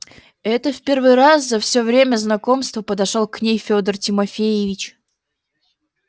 это в первый раз за всё время знакомства подошёл к ней фёдор тимофеевич